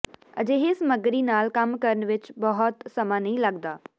ਅਜਿਹੇ ਸਮੱਗਰੀ ਨਾਲ ਕੰਮ ਕਰਨ ਵਿੱਚ ਬਹੁਤ ਸਮਾਂ ਨਹੀਂ ਲੱਗਦਾ